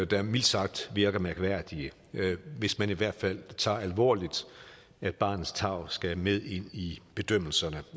der mildt sagt virker mærkværdige hvis man i hvert fald tager alvorligt at barnets tarv skal med ind i bedømmelserne